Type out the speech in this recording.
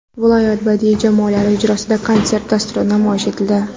Viloyat badiiy jamoalari ijrosida konsert dasturi namoyish etildi.